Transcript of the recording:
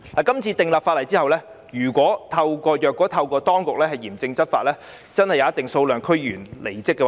今次訂立法例後，如果當局嚴正執法，真的會有一定數量的區議員離職。